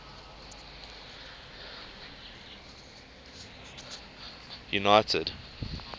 united